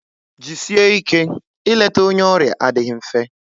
Jisie ike, ị leta onye ọrịa adịghị mfe